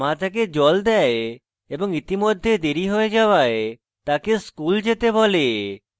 মা তাকে জল দেয় এবং ইতিমধ্যে দেরী হয়ে যাওয়ায় তাকে স্কুল যেতে বলে